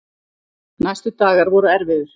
Næstu dagar voru erfiðir.